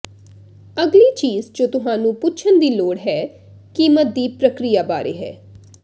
ਅਗਲੀ ਚੀਜ ਜੋ ਤੁਹਾਨੂੰ ਪੁੱਛਣ ਦੀ ਲੋੜ ਹੈ ਕੀਮਤ ਦੀ ਪ੍ਰਕਿਰਿਆ ਬਾਰੇ ਹੈ